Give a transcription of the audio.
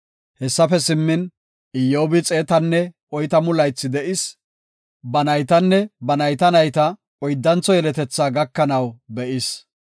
Hessafe simmin, Iyyobi xeetanne oytamu laythi de7is. Ba naytanne ba nayta nayta oyddantho yeletethaa gakanaw be7is.